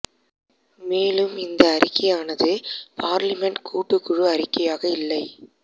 மேலும் இந்த அறிக்கையானது பார்லிமென்ட் கூட்டுக் குழு அறிக்கையாக இல்லை